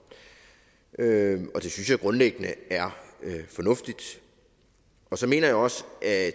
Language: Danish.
det synes jeg grundlæggende er fornuftigt og så mener jeg også at